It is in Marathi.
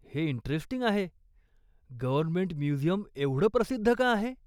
हे इंटरेस्टिंग आहे. गव्हर्नमेंट म्युझियम एवढं प्रसिद्ध का आहे?